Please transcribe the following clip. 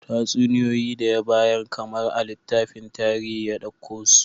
Tatsuniyoyi da ya bayar kamar a littafin tarihi ya dauko su